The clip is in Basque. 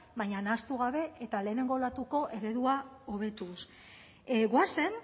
baina nahastu gabe eta lehenengo olatuko eredua hobetuz goazen